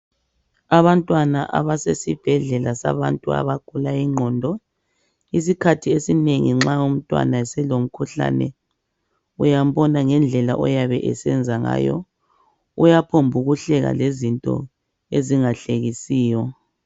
Abantwana abasesibhedlela sabantu abagula ingqondo, isikhathi esinengi nxa umntwana eselomkhuhlane uyambona ngendlela oyabe esenza ngayo. Uyaphomba ukuhleka lezinto ezingahlekisiyo.